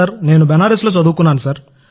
నేను బనారస్లో చదువుకున్నాను సార్